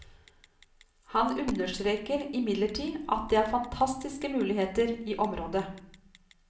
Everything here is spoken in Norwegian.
Han understreker imidlertid at det er fantastiske muligheter i området.